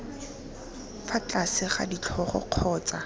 fa tlase ga ditlhogo kgotsa